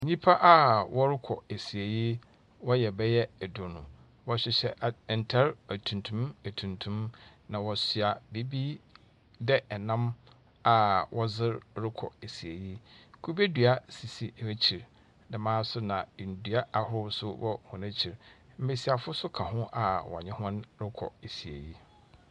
Nnipa a wɔrekɔ asiei. Wɔyɛ bɛyɛ eduonu. Wɔhyehyɛ at ntare atuntum atuntum, na wɔhyɛ biribi dɛ nnam a wɔdze rokɔ asiei. Kube dua sisi wɔn ekyir, dɛm ara nso na ndua ahorow wɔ hɔn ekyir. Mmesiafo nso ka ho a wɔne hɔn rokɔ esiei.